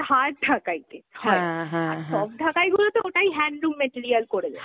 hard ঢাকাইতে হয়, আর soft ঢাকাইগুলো তো, ওটাই handloom material করে দেয়।